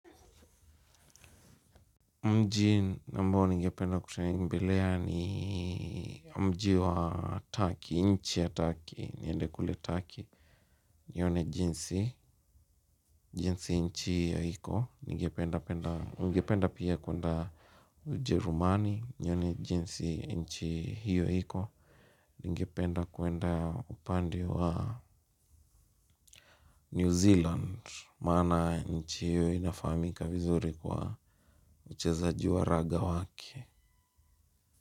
Mji ambao ningependa kutembelea ni mji wa Turkey, nchi ya Turkey, niende kule Turkey, nione jinsi, jinsi nchi hiyo iko, ningependa penda, ningependa pia kuenda Ujerumani, nione jinsi nchi hiyo iko, ningependa kuenda upande wa New Zealand, maana nchi hiyo inafahamika vizuri kwa uchezaji wa raga wake.